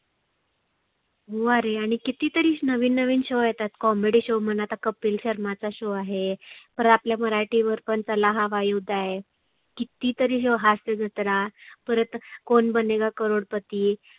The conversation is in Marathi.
हो आरे आणि किती तरी नविन नविन show येतात. comedy show म्हणा आता कपिल शर्माचा show आहे. परत आपल्या मराठी वर पण चला हवा येऊद्या आहे. किती तरी show हास्य जत्रा परत कोण बनेगा करोड पती